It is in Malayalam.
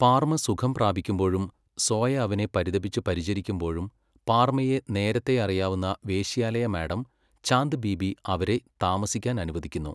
പാർമ സുഖം പ്രാപിക്കുമ്പോഴും സോയ അവനെ പരിതപിച്ച് പരിചരിക്കുമ്പോഴും പാർമയെ നേരത്തെ അറിയാവുന്ന വേശ്യാലയ മാഡം ചാന്ദ് ബീബി അവരെ താമസിക്കാൻ അനുവദിക്കുന്നു.